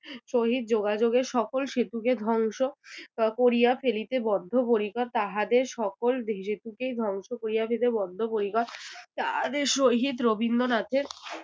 সহিত যোগাযোগের সকল সেতুকে ধ্বংস করিয়া ফেলিতে বদ্ধপরিকর, তাহাদের সকল সেতুকেই ধ্বংস করিয়া ফেলিতে বদ্ধপরিকর। তাহাদের সহিত রবীন্দ্রনাথের